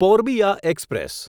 Purbiya express